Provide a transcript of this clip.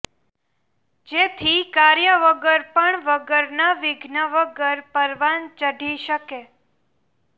જેથી કાર્ય વગર પણ વગરના વિઘ્ન વગર પરવાન ચઢી શકે